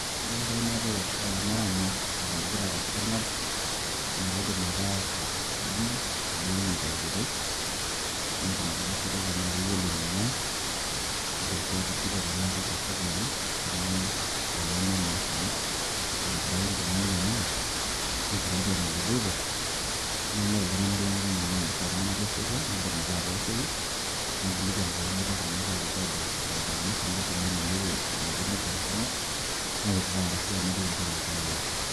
ore painepu olamerani oiragita te sarngab naa kaidim ake atudumu naiwuangie tenkoitoi, naikilikwanishore tenaa keyiolo eningwaa ,kaidim sii atujuto tenaa keichafuke oleng peyie peemenya naa esarngab ,naitobiraki nkilani enyenak , naikilikwan eneloito ,naingoru iltungnak lenkang enye arashu iltunganak lesotwa ,naidim ake atooshoki naikilkwan pee meitobi naa ake alotu abatatakino esarngab amu elelek elotu negor esarngab nautaa arashu narik mpaka enkang enye.